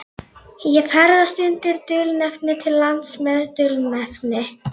Ég ferðast undir dulnefni til lands með dulnefni.